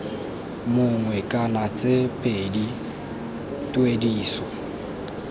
mongwe kana tse pedi tuediso